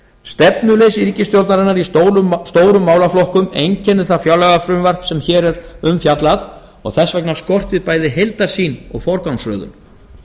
stefnuleysi ríkisstjórnarinnar í stórum málaflokkum einkennir það fjárlagafrumvarp sem hér er um fjallað og þess vegna skortir bæði heildarsýn og forgangsröðun